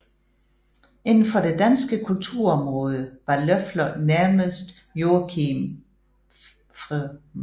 Inden for det danske kulturområde var Løffler nærmest Joachim Fr